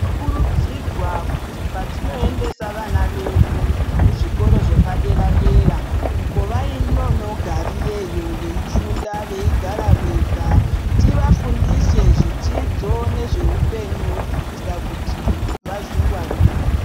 Kurudzirwa kuti patinoendesa vana vedu kuzvikora zvepadera-dera uko vanonogarireyo veifunda veigara vega tivafundise zvidzidzo zveupenyu kuitira kuti vazvingwarire.